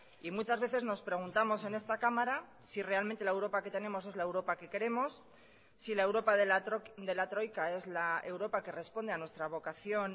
y muchas veces nos preguntamos en esta cámara si realmente la europa que tenemos es la europa que queremos si la europa de la troika es la europa que responde a nuestra vocación